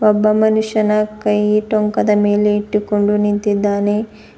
ಒಬ್ಬ ಮನುಷ್ಯನ ಕೈಯಿ ಟೊಂಕದ ಮೇಲೆ ಇಟ್ಟುಕೊಂಡು ನಿಂತಿದ್ದಾನೆ.